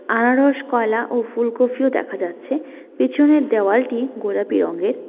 আনারস কলা ও ফুলকফিও দেখা যাচ্ছে পিছনের দেওয়ালটি গোলাপি রঙের।